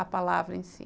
A palavra em si.